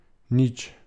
Nič.